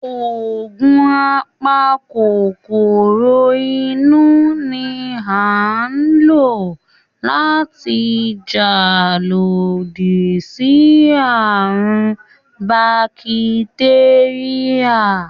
Ògùn a pa kòkòrò inú ni à ń lò láti jà lodí sí àrùn ún bakitéríà